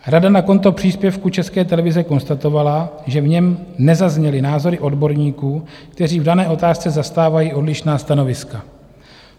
Rada na konto příspěvku České televize konstatovala, že v něm nezazněly názory odborníků, kteří v dané otázce zastávají odlišná stanoviska.